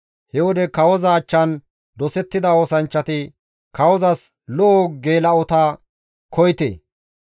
He wode kawoza achchan dosettida oosanchchati, «Kawozas lo7o geela7ota koyite.